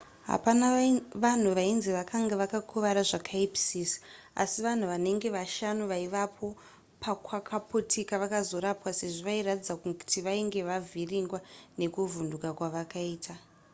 hapana vanhu vainzi vakanga vakuvara zvakaipisisa asi vanhu vanenge vashanu vaivapo pakwakaputika vakazorapwa sezvo vairatidza kuti vainge vavhiringwa nekuvhunduka kwavakaita